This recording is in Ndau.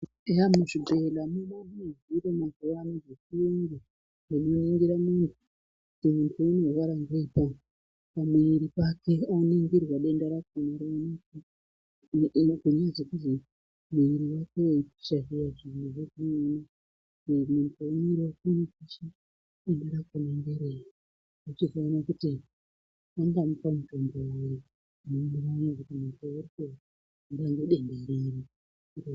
Eya muzvibhehlela mava nezviro mazuvano zvechiyungu zvinoningira muiri kuti muntu unorwara ngei pamuiri pake. Oningirwa denda rakona roonekwa, unogona zvekuzi muiri wako weipisha zviya-zviya denda rakona ngerei. Vochizoona kuti vangamupa mutombo uri unoenderana ngekuti unorapwa ngedenda riri...